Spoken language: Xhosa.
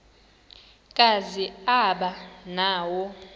kazi aba nawo